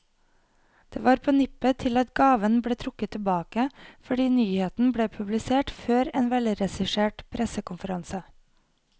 Det var på nippet til at gaven ble trukket tilbake, fordi nyheten ble publisert før en velregissert pressekonferanse.